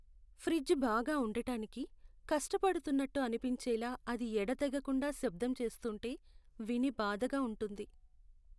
Fridge బాగా ఉండటానికి కష్టపడుతున్నట్టు అనిపించేలా అది ఎడతెగకుండా శబ్దం చేస్తూంటే విని బాధగా ఉంటుంది.